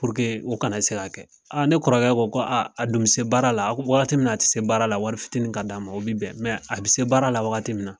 o kana ne se ka kɛ ne kɔrɔkɛ ko a dun bi se baara la waati min na a tɛ se baara la wari fitiinin ka d'a ma o bi bɛn a bi se baara la wagati min na.